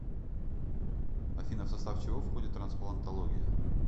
афина в состав чего входит трансплантология